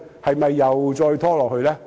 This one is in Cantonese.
是否又再拖延下去？